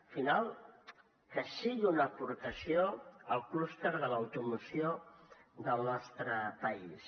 al final que sigui una aportació al clúster de l’automoció del nostre país